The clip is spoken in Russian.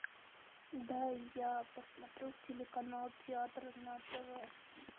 дай я посмотрю телеканал театр на тв